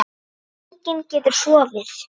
Enginn getur sofið.